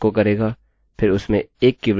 अतः आप जो तुलना कर रहे हैं जो आप देख नहीं सकते